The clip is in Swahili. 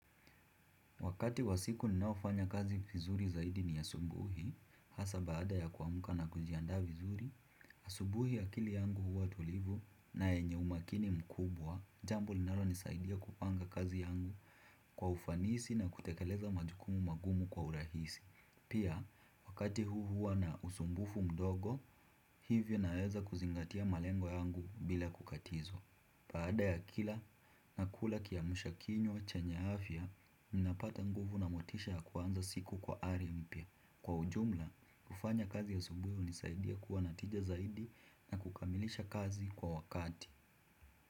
Wakati wa siku ninaofanya kazi vizuri zaidi ni asubuhi, hasa baada ya kuamka na kujiandaa vizuri. Asubuhi akili yangu huwa tulivu na yenye umakini mkubwa, jambo linalonisaidia kupanga kazi yangu kwa ufanisi na kutekeleza majukumu magumu kwa urahisi. Pia, wakati huu huwa na usumbufu mdogo, hivyo naweza kuzingatia malengo yangu bila kukatizwa. Baada ya kula, nakula kiamsha kinywa chenye afya. Ninapata nguvu na motisha ya kuanza siku kwa hali mpya. Kwa ujumla, kufanya kazi asubuhi hunisaidia kuwa na tija zaidi na kukamilisha kazi kwa wakati.